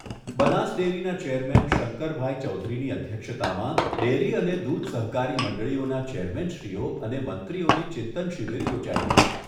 બનાસ ડેરીના ચેરમેન શંકરભાઈ ચૌધરીની અધ્યક્ષતામાં ડેરી અને દૂધ સહકારી મંડળીઓના ચેરમેનશ્રીઓ અને મંત્રીઓની ચિંતન શિબિર યોજાઈ ગઈ.